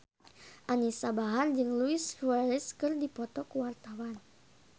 Anisa Bahar jeung Luis Suarez keur dipoto ku wartawan